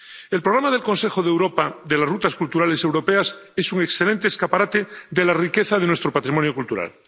El programa del Consejo de Europa de las rutas culturales europeas es un excelente escaparate de la riqueza de nuestro patrimonio cultural.